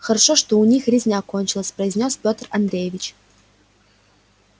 хорошо что у них резня кончилась произнёс петр андреевич